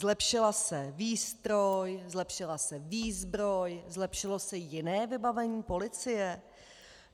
Zlepšila se výstroj, zlepšila se výzbroj, zlepšilo se jiné vybavení policie?